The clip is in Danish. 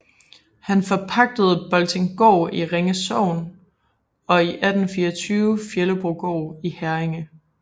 Han forpagtede Boltinggaard i Ringe Sogn og i 1824 Fjellebrogård i Herringe